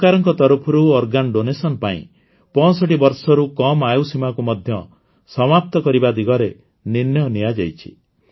ସରକାରଙ୍କ ତରଫରୁ ଅଙ୍ଗଦାନ ପାଇଁ ୬୫ ବର୍ଷରୁ କମ୍ ଆୟୁ ସୀମାକୁ ମଧ୍ୟ ସମାପ୍ତ କରିବା ଦିଗରେ ନିର୍ଣ୍ଣୟ ନିଆଯାଇଛି